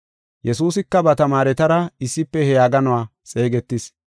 Yesuusika ba tamaaretara issife he yaaganuwa xeegetis.